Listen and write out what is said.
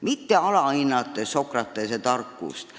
Nad ei alahinda Sokratese tarkust.